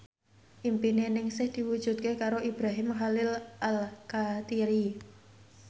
impine Ningsih diwujudke karo Ibrahim Khalil Alkatiri